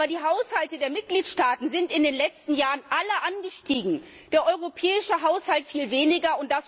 Aber die Haushalte der Mitgliedstaaten sind in den letzten Jahren alle angestiegen, der europäische Haushalt viel weniger.